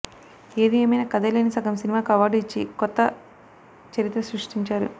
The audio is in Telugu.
ఏది ఏమైనా కథే లేని సగం సినిమాకు అవార్డు ఇచ్చి ఒక కొత్త చరిత్ర సృష్టించారు